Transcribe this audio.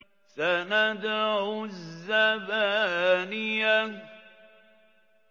سَنَدْعُ الزَّبَانِيَةَ